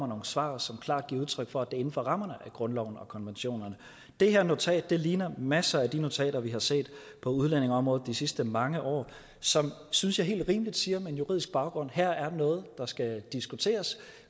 nogle svar som klart giver udtryk for inden for rammerne af grundloven og konventionerne det her notat ligner masser af de notater vi har set på udlændingeområdet de sidste mange år som synes jeg helt rimeligt siger med en juridisk baggrund at her er noget der skal diskuteres